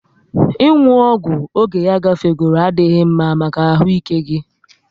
Ị nwu ọgwụ oge ya gafegoro adịghị mma maka ahụ ike gị